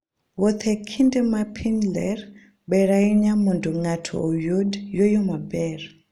Wuoth e kinde ma piny ler, ber ahinya mondo ng'ato oyud yueyo maber.